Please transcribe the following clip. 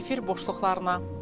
Efir boşluqlarına.